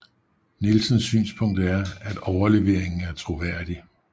Nielsens synspunkt er at overleveringen er troværdig